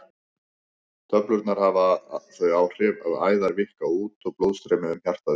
Töflurnar hafa þau áhrif að æðar víkka út og blóðstreymi um hjartað eykst.